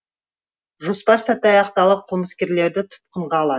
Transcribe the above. жоспар сәтті аяқталып қылмыскерлерді тұтқынға алады